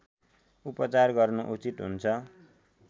उपचार गर्नु उचित हुन्छ